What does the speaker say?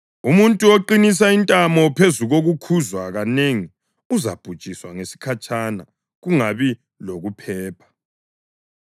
Umuntu oqinisa intamo phezu kokukhuzwa kanengi uzabhujiswa ngesikhatshana kungabi lokuphepha.